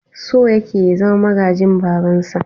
So yake ya zama magajin babansa.